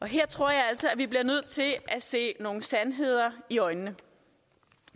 her tror jeg altså vi bliver nødt til at se nogle sandheder i øjnene